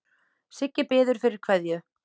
Siggi biður fyrir kveðju.